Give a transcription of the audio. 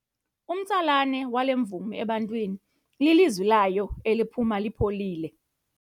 Umtsalane wale mvumi ebantwini lilizwi layo eliphuma lipholile.